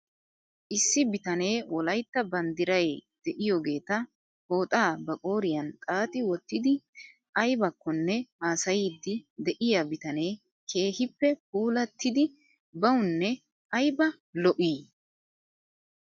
Issi bitanee wolaytta banddiray de'iyoogeeta pooxxaa ba qooriyan xaaxi wottidi aybakkonne haasayiiddi de'iyaa bitanee keehippe puulattidi bawnne ayba lo'ii .